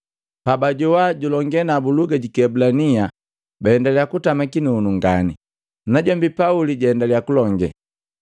Pabajawana julonge nabu luga ji Kiebulania, baendalia kutama kinunu ngani. Najombi Pauli jaendalia kulonge,